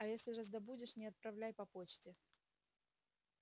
а если раздобудешь не отправляй по почте